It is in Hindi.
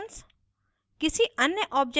static functions